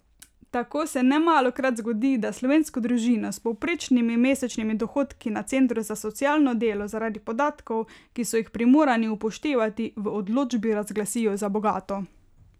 Tako se nemalokrat zgodi, da slovensko družino s povprečnimi mesečnimi dohodki na centru za socialno delo zaradi podatkov, ki so jih primorani upoštevati, v odločbi razglasijo za bogato.